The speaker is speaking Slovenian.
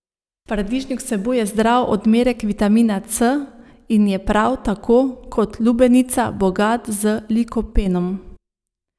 Paradižnik vsebuje zdrav odmerek vitamina C in je prav tako kot lubenica bogat z likopenom.